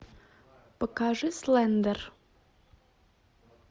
покажи слендер